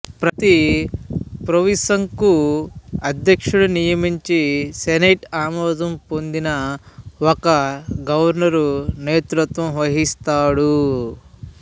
ప్రతి ప్రొవింసుకు అధ్యక్షుడు నియమించి సెనేటు అమోదం పొందిన ఒక గవర్నరు నేతృత్వం వహిస్తాడు